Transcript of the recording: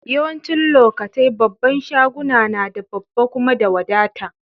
Yawancin lokatai babban shaguna na da babba kuma da wadata.